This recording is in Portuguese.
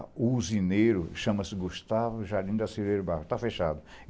O usineiro, chama-se Gustavo Jardim da Silveira do Bairro, tá fechado.